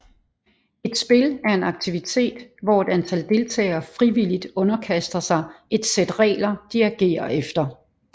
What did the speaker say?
Et spil er en aktivitet hvor et antal deltagere frivilligt underkaster sig et sæt regler de agerer efter